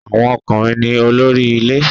Awon okunrin ni olori ile